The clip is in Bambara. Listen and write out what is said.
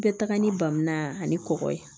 Bɛɛ taga ni bamuna ani kɔkɔ ye